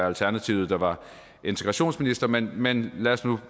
alternativet der var integrationsminister men men lad os nu